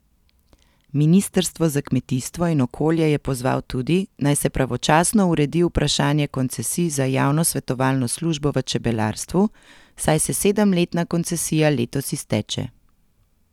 Ministrstvo za kmetijstvo in okolje je pozval tudi, naj se pravočasno uredi vprašanje koncesij za javno svetovalno službo v čebelarstvu, saj se sedemletna koncesija letos izteče.